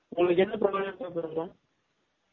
உங்கலுக்கு என்ன program paper இருக்கும்